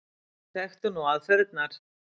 Við þekktum nú aðferðirnar.